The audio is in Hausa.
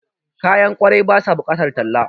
Kayan kwarai ba ya bukatar talla